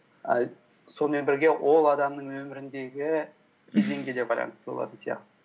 і сонымен бірге ол адамның өміріндегі кезеңге де байланысты болатын сияқты